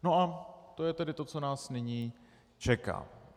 No a to je tedy to, co nás nyní čeká.